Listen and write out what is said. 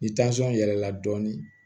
Ni yɛlɛla dɔɔnin